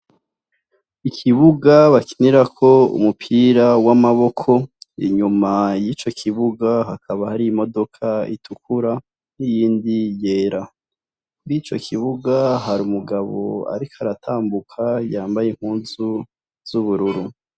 Ikibuga bakinirako umupira w'amaboko, inyuma y'ico kibuga hakaba hari imodoka itukura n'iyindi yera. Kw'ico kibuga, hari umugabo ariko aratambuka, yambaye impuzu z'ubururu.